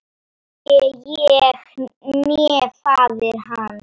Hvorki ég né faðir hans.